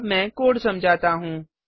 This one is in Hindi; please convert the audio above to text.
अब मैं कोड समझाता हूँ